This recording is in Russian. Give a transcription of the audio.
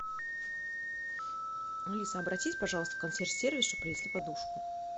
алиса обратись пожалуйста в консьерж сервис чтобы принесли подушку